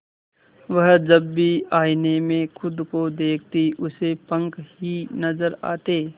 वह जब भी आईने में खुद को देखती उसे पंख ही नजर आते